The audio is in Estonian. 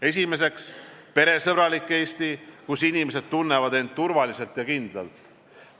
Esiteks, peresõbralik Eesti, kus inimesed tunnevad end turvaliselt ja kindlalt.